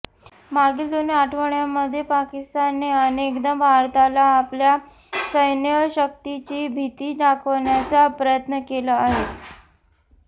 मागील दोन आठवड्यांमध्ये पाकिस्तानने अनेकदा भारताला आपल्या सैन्यशक्तीची भिती दाखवण्याचा प्रयत्न केला आहे